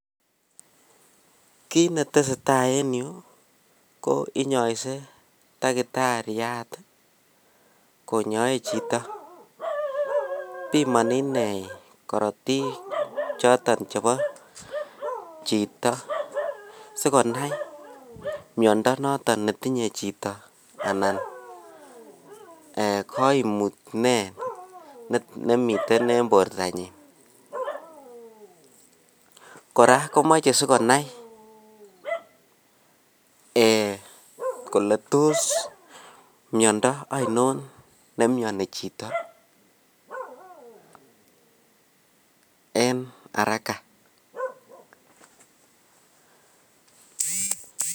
Kiit netesetaa en yuu ko inyoise takitariat konyoe chito, pimoni inei korotik choton chebo chito sikonai miondo noton netinye chito anan koimut nee nemiten en bortanyin, kora komoche sikonai kole toos miondo oinon nemioni chito en araka.